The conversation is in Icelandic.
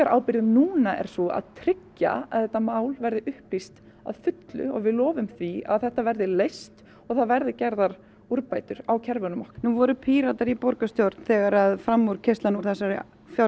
ábyrgð núna er sú að tryggja að þetta mál verði upplýst að fullu og við lofum því að þetta mál verði leyst og það verði gerðar úrbætur á kerfum okkar nú voru Píratar í borgarstjórn þegar framúrkeyrslan fram úr þessari